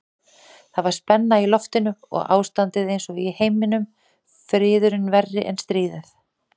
Það var spenna í lofti og ástandið einsog í heiminum, friðurinn verri en stríðið.